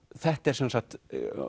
þetta er sem sagt